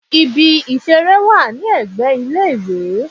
Ibi ìṣeré wà ní ẹgbẹ́ ilé-ìwé.